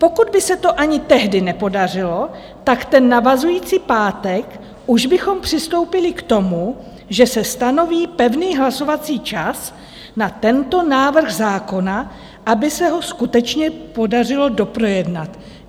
Pokud by se to ani tehdy nepodařilo, tak ten navazující pátek už bychom přistoupili k tomu, že se stanoví pevný hlasovací čas na tento návrh zákona, aby se ho skutečně podařilo doprojednat.